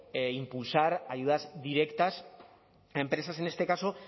impulsar ayudas directas a empresas en este caso